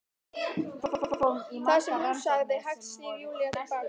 Það sem hún sagði- Hægt snýr Júlía til baka.